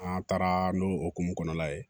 An taara n'o hukumu kɔnɔna ye